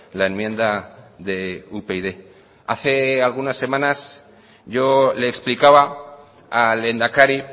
la enmienda de upyd hace algunas semanas yo le explicaba al lehendakari